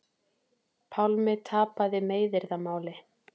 Pálmi tapaði meiðyrðamáli